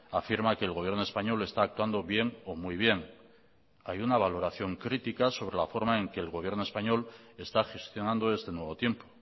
afirma que el gobierno español está actuando bien o muy bien hay una valoración crítica sobre la forma en que el gobierno español está gestionando este nuevo tiempo